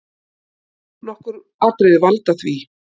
Nokkur atriði valda því.